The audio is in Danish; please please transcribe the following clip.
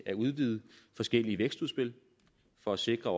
at udvide forskellige vækstudspil for at sikre